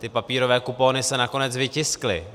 Ty papírové kupony se nakonec vytiskly.